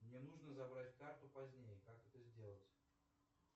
мне нужно забрать карту позднее как это сделать